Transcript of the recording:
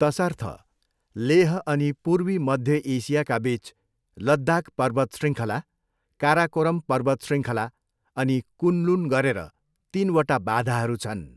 तसर्थ, लेह अनि पूर्वी मध्य एसियाका बिच, लद्दाख पर्वतशृङ्खला, काराकोरम पर्वतशृङ्खला, अनि कुनलुन गरेर तिनवटा बाधाहरू छन्।